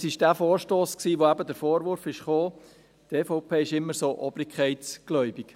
Es war dieser Vorstoss, bei dem eben der Vorwurf kam, die EVP sei immer so obrigkeitsgläubig.